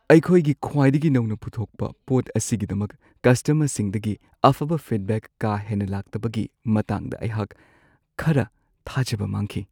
ꯑꯩꯈꯣꯏꯒꯤ ꯈ꯭ꯋꯥꯏꯗꯒꯤ ꯅꯧꯅ ꯄꯨꯊꯣꯛꯄ ꯄꯣꯠ ꯑꯁꯤꯒꯤꯗꯃꯛ ꯀꯁꯇꯃꯔꯁꯤꯡꯗꯒꯤ ꯑꯐꯕ ꯐꯤꯗꯕꯦꯛ ꯀꯥ ꯍꯦꯟꯅ ꯂꯥꯛꯇꯕꯒꯤ ꯃꯇꯥꯡꯗ ꯑꯩꯍꯥꯛ ꯈꯔ ꯊꯥꯖꯕ ꯃꯥꯡꯈꯤ ꯫